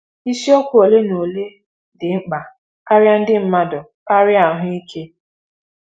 Isiokwu ole na ole dị mkpa karịa ndị mmadụ karịa ahụike.